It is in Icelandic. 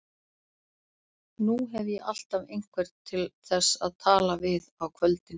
Nú hef ég alltaf einhvern til þess að tala við á kvöldin.